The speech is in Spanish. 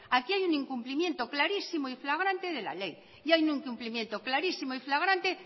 aquí hay un incumplimiento clarísimo y fragrante de la ley y ahí un incumplimiento clarísimo y fragrante